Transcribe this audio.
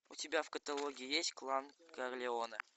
у тебя в каталоге есть клан карлеоне